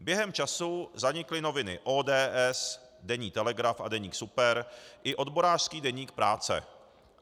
Během času zanikly noviny ODS, deník Telegraf a deník Super i odborářský deník Práce.